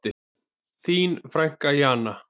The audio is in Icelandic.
Þín frænka Jana.